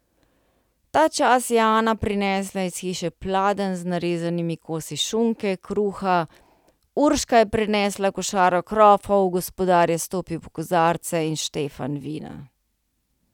Ta čas je Ana prinesla iz hiše pladenj z narezanimi kosi šunke, kruha, Urška je prinesla košaro krofov, gospodar je stopil po kozarce in štefan vina.